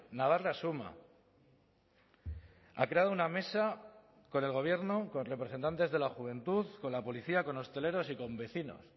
navarra suma ha creado una mesa con el gobierno con representantes de la juventud con la policía con hosteleros y con vecinos